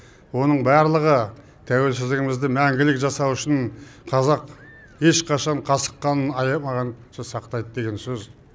оның барлығы тәуелсіздігімізді мәңгілік жасау үшін қазақ ешқашан касық қанын аямаған сақтайды деген сөз